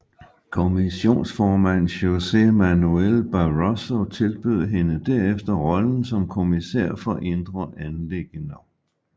Kommissionsformand José Manuel Barroso tilbød hende derefter rollen som kommissær for indre anliggender